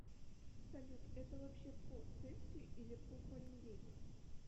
салют это вообще по цельсию или по фаренгейту